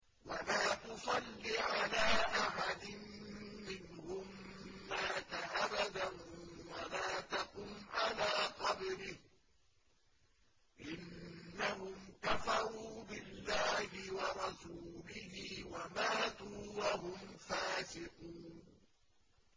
وَلَا تُصَلِّ عَلَىٰ أَحَدٍ مِّنْهُم مَّاتَ أَبَدًا وَلَا تَقُمْ عَلَىٰ قَبْرِهِ ۖ إِنَّهُمْ كَفَرُوا بِاللَّهِ وَرَسُولِهِ وَمَاتُوا وَهُمْ فَاسِقُونَ